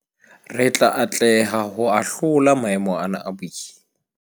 Re tla atleha ho ahlola maemo ana a boima.